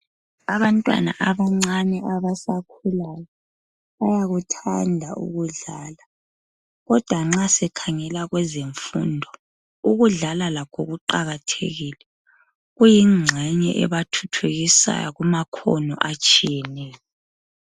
abantwana abancane abasakhulayo bayakuthanda ukudlala kodwa nxa esekhangela kwezemfundo ukudlala lakho kuqakathekile kuyinxenye ebathuthukisayo kumakhona atshiyeneyo